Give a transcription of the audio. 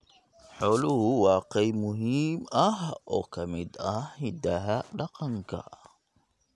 Xooluhu waa qayb muhiim ah oo ka mid ah hidaha dhaqanka.